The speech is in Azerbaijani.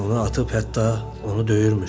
onu atıb hətta onu döyürmüş.